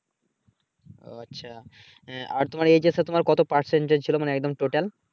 ওহ আচ্ছা । আহ আর তোমার এইস এচ এ তোমার কত Percentage ছিলো মানে একদম টোটাল।